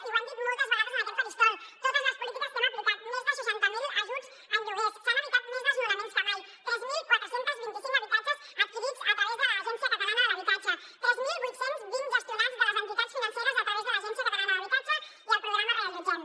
i ho hem dit moltes vegades en aquest faristol totes les polítiques que hem aplicat més de seixanta mil ajuts en lloguers s’han evitat més desnonaments que mai tres mil quatre cents i vint cinc habitatges adquirits a través de l’agència de l’habitatge de catalunya tres mil vuit cents i vint gestionats de les entitats financeres a través de l’agència de l’habitatge de catalunya i el programa reallotgem